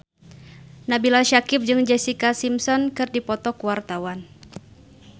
Nabila Syakieb jeung Jessica Simpson keur dipoto ku wartawan